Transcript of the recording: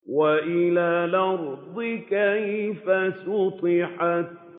وَإِلَى الْأَرْضِ كَيْفَ سُطِحَتْ